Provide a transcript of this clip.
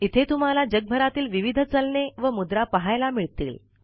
इथे तुम्हाला जगभरातील विविध चलने व मुद्रा पहायला मिळतील